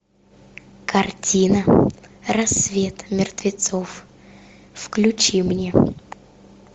картина рассвет мертвецов включи мне